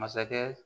Masakɛ